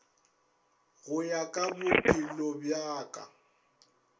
go ya ka bophelobja ka